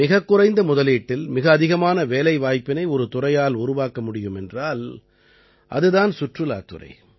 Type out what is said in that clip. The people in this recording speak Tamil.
மிகக் குறைந்த முதலீட்டில் மிக அதிகமான வேலைவாய்ப்பினை ஒரு துறையால் உருவாக்க முடியும் என்றால் அது தான் சுற்றுலாத் துறை